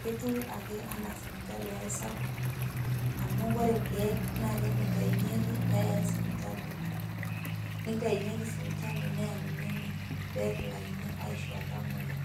ketiu ake enaa sipitali ai sapuk, amu ore irkeek naa kene itainyeki peei sipitali. Nitainyeki si sipitali peuni ene, petilakini aishoo iltamoyia.